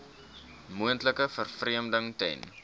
moontlike vervreemding ten